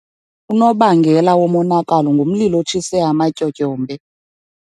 Unobangela womonakalo ngumlilo otshise amatyotyombe.